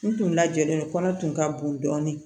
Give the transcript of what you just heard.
N tun lajɛlen kɔnɔ tun ka bon dɔɔnin